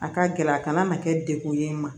A ka gɛlɛn a kana na kɛ degun ye n ma